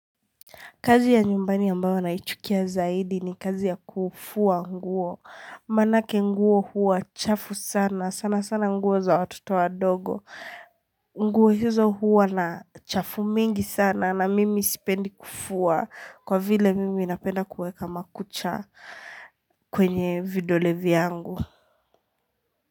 Kazi ya nyumbani ambayo naichukia zaidi ni kazi ya kufua nguo. Manake nguo huwa chafu sana. Sana sana nguo za watoto wadogo. Nguo hizo huwa na chafu mingi sana na mimi sipendi kufua. Kwa vile mimi napenda kuweka makucha kwenye vidole vyangu.